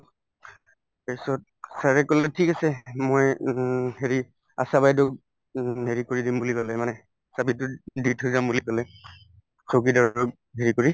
তাৰপিছত sir য়ে কলে ঠিক আছে মই উম হেৰি আশা বাইদেউক উম হেৰি কৰি দিম বুলি কলে মানে চাবিতো দি থৈ যাম বুলি কলে চকীদাৰক হেৰি কৰি